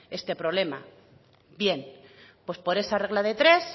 este problema bien pues por esa regla de tres